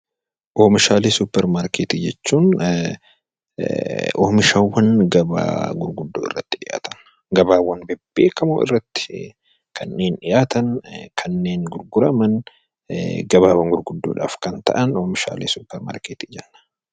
Oomishaalee suupparmaarkeetii jechuun oomishaawwan gabaa gurguddaa irratti dhiyaatan gabaawwan bebbeekamoo irratti kanneen dhiyaatan kanneen gurguraman gabaawwan gurguddoodhaaf kan ta'anidha.